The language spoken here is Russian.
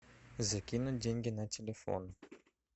закинуть деньги на телефон